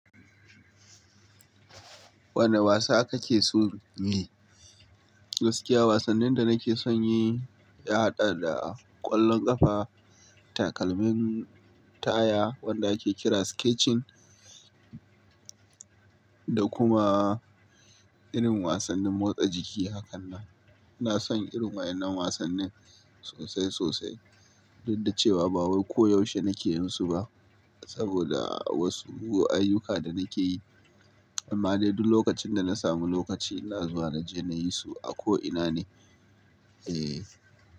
Wane wasa kake so in yi? Gaskiya wasannin da nake son yi ya haɗa da ƙwallon ƙafa, takalmin taya wanda ake kira sketching Gaskiya wasannin da nake son yi ya haɗa da ƙwallon ƙafa, takalmin taya wanda ake kira sketching ina son irin waɗan nan wasan nin sosai-sosai duk da cewa ba wai ko yaushe nake yinsu ba saboda wasu ayyuka da nake yi. Amma dai duk lokacin dana sami lokaci ina zuwa inje nayisu a ko ina ne.